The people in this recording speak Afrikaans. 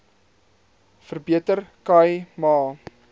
verbeter khai ma